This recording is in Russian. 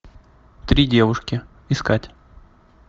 три девушки искать